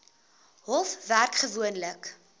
hof werk gewoonlik